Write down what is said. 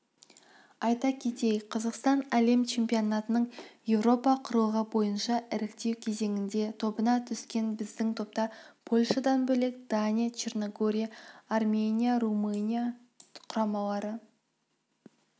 айта кетейік қазақстан әлем чемпионатының еуропа құрлығы бойынша іріктеу кезеңінде тобына түскен біздің топта польшадан бөлек дания черногория армения румыния құрамалары